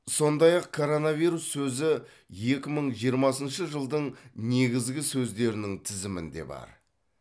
сондай ақ коронавирус сөзі екі мың жиырмасыншы жылдың негізгі сөздерінің тізімінде бар